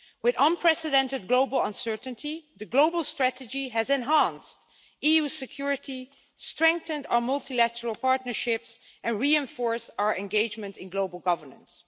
With unprecedented global uncertainty, the global strategy has enhanced EU security, strengthened our multilateral partnerships and reinforced our engagement in global governance.